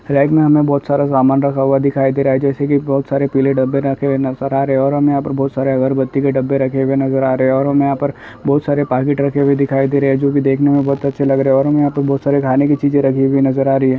Rack मे हमे बहोत सारा सामान रखा हुआ दिखाई दे रहा है जैसे की बहोत सारे पीले डब्बे रखे हुए नजर आ रहे है और हमे बहोत सारे अगरबत्ती के डब्बे रखे हुए नजर आ रहे है और हमे यहां पर बहोत सारे पकिट रखे हुए दिखाई दे रहे है जो की देखने मे बहोत अच्छे लग रहे हमे यहां पर बहोत सारे खाने की चीजे रखी हुइ नजर आ रही हैं।